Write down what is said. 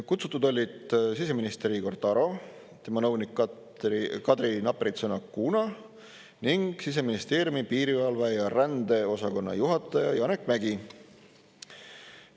Kutsutud olid siseminister Igor Taro, tema nõunik Kadri Napritson-Acuna ning Siseministeeriumi piirivalve- ja rändeosakonna juhataja Janek Mägi.